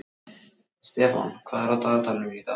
Stefán, hvað er í dagatalinu mínu í dag?